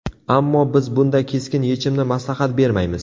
Ammo, biz bunday keskin yechimni maslahat bermaymiz.